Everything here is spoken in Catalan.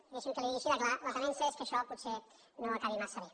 i deixi’m que li ho digui així de clar la temença és que això potser no acabi massa bé